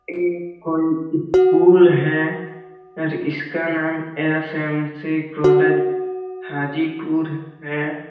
ये कोई स्कूल है और इसका नाम एस.एम.सी कॉलेज हाजीपुर है।